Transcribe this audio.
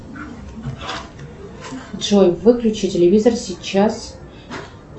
джой выключи телевизор сейчас